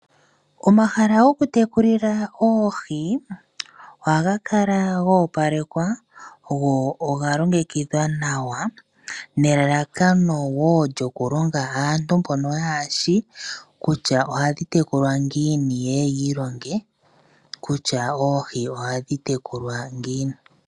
Omahala goku tekulila oohi ohaga kala go opalekwa go ogalongekidhwa nawa nelalakano lyokulonga aantu mbono yahashi kutya ohadhi tekulwa ngiini yeye yi ilonge kutya oohi ohadhi tekulwa ngiini.